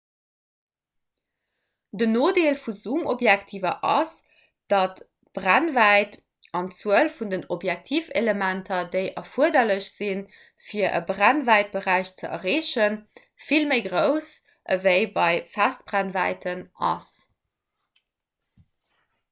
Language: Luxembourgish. den nodeel vu zoomobjektiver ass datt d'brennwäit an d'zuel vun den objektivelementer déi erfuerderlech sinn fir e brennwäitberäich ze erreechen vill méi grouss ewéi bei festbrennwäiten ass